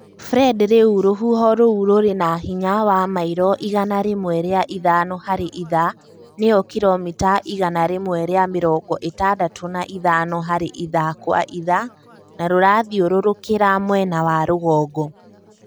Fred rĩu rũhuho rũu rũrĩ na hinya wa mairo igana rĩmwe rĩa ithano harĩ ithaa nĩyo kiromita igana rĩmwe rĩa mĩrongo ĩtandatũ na ithano harĩ ithaa kwa ithaa na rũrathiũrũrũkĩra mwena wa rũgongo.